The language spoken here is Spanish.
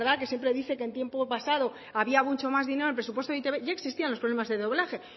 que siempre dice que en tiempo pasado había mucho más dinero en presupuesto de e i te be ya existían los problemas de doblaje